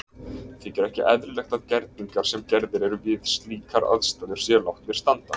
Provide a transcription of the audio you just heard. Þykir ekki eðlilegt að gerningar sem gerðir eru við slíkar aðstæður séu látnir standa.